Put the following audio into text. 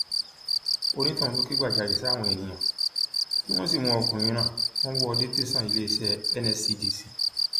onítọhún ló kẹgbajàre sáwọn èèyàn tí wọn sì mú ọkùnrin náà wọn wò ó dé tẹsán iléeṣẹ nscdc